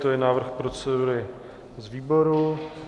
To je návrh procedury z výboru.